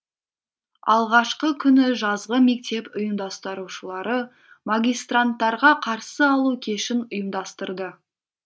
алғашқы күні жазғы мектеп ұйымдастырушылары магистранттарға қарсы алу кешін ұйымдастырды